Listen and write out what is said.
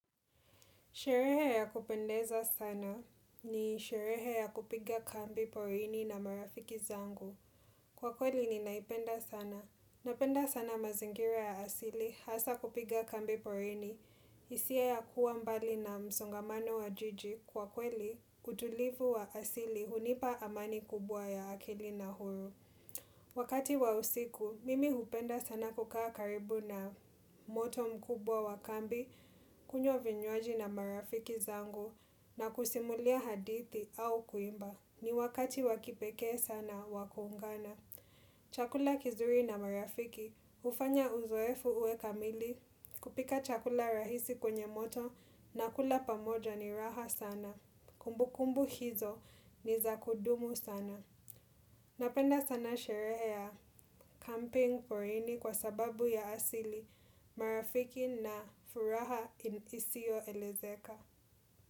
Sherehe ya kupendeza sana ni sherehe ya kupiga kambi porini na marafiki zangu. Kwa kweli ni naipenda sana. Napenda sana mazingira ya asili hasa kupiga kambi porini. Isia ya kuwa mbali na msongamano wa jiji. Kwa kweli, kutulivu wa asili hunipa amani kubwa ya akili na huru. Wakati wa usiku, mimi kupenda sana kukaa karibu na moto mkubwa wa kambi. Kunywa vinyoaji na marafiki zangu na kusimulia hadithi au kuimba. Ni wakati wakipeke sana wakuungana. Chakula kizuri na marafiki. Ufanya uzoefu uwe kamili kupika chakula rahisi kwenye moto na kula pamoja ni raha sana. Kumbu kumbu hizo ni zakudumu sana. Napenda sana sherehe ya camping foreigni kwa sababu ya asili marafiki na furaha isio elezeka.